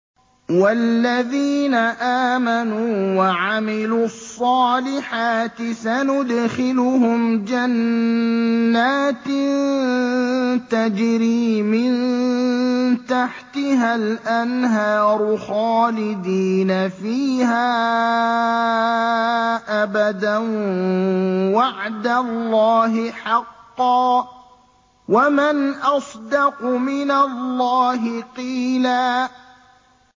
وَالَّذِينَ آمَنُوا وَعَمِلُوا الصَّالِحَاتِ سَنُدْخِلُهُمْ جَنَّاتٍ تَجْرِي مِن تَحْتِهَا الْأَنْهَارُ خَالِدِينَ فِيهَا أَبَدًا ۖ وَعْدَ اللَّهِ حَقًّا ۚ وَمَنْ أَصْدَقُ مِنَ اللَّهِ قِيلًا